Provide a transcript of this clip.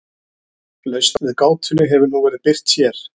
Lausn við gátunni hefur nú verið birt hér.